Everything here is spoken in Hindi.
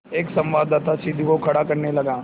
एक संवाददाता सीढ़ी को खड़ा करने लगा